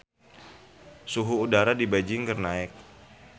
Suhu udara di Beijing keur naek